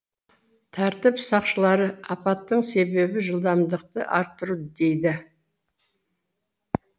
тәртіп сақшылары апаттың себебі жылдамдықты арттыру дейді